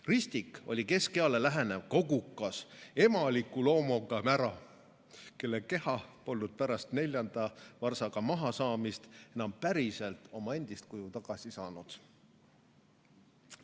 Ristik oli keskeale lähenev kogukas, emaliku loomuga mära, kelle keha polnud pärast neljanda varsaga mahasaamist enam päriselt oma endist kuju tagasi saanud.